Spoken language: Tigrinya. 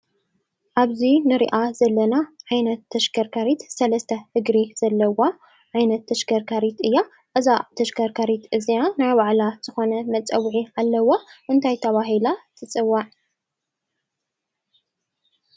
ኣብዚ ንሪኣ ዘለና ዓይነት ተሽከርካሪት 3+ እግሪ ዘለዋ ዓይነት ተሽከርካሪት እያ፡፡ እዛ ተሽከርካሪት እዚኣ ናይ ባዕላ ዝኾነ መፀውዒ ኣለዋ፡፡ እንታይ ተባሂላ ትፅዋዕ?